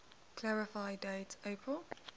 clarify date april